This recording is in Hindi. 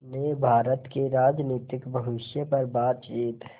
ने भारत के राजनीतिक भविष्य पर बातचीत